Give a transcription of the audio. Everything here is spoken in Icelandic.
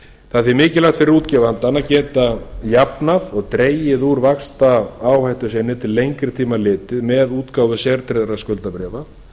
því mikilvægt fyrir útgefandann að geta jafnað og dregið úr vaxtaáhættu sinni til lengri tíma litið með útgáfu sértryggðra skuldabréfa